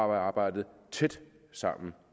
arbejdet tæt sammen